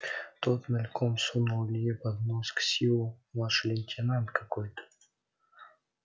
тот мельком сунул илье под нос ксиву младший лейтенант какой-то